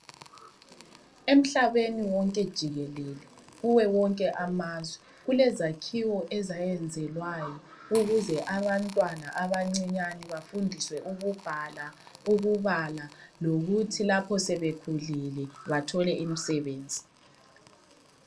Emhlabeni wonke jikelele kuwe wonke amazwe kulezakhiwo ezayenzelwayo ukuze abantwana abancinyane bafundiswe ukubhala, ukubala lokuthi lapho sebekhulile bathole imisebenzi.